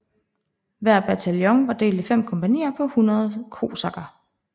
Hver bataljon var delt i 5 kompagnier på 100 kosakker